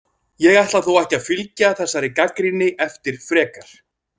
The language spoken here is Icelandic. Ég ætla þó ekki að fylgja þessari gagnrýni eftir frekar.